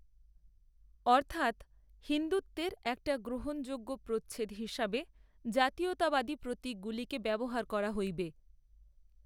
অর্থাত্, হিন্দুত্বের একটা গ্রহণযোগ্য প্রচ্ছদ হিসাবে, জাতীয়তাবাদী প্রতিকগুলিকে ব্যবহার করা হইবে